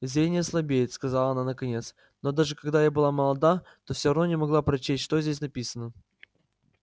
зрение слабеет сказала она наконец но даже когда я была молода то всё равно не могла прочесть что здесь написано